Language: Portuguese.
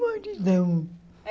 Maridão. É